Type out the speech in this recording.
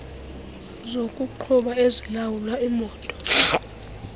zokuqhuba ezilawula imoto